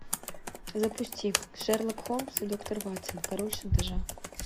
запусти шерлок холмс и доктор ватсон король шантажа